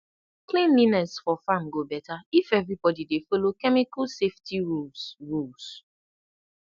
cleanliness for farm go better if everybody dey follow chemical safety rules rules